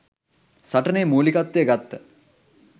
සටනේ මුලිකත්වය ගත්ත